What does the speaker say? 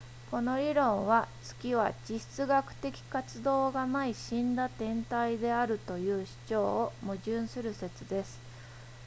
この理論は月は地質学的活動がない死んだ天体であるという主張と矛盾する説です